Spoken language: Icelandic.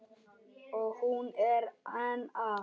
Og hún er enn að.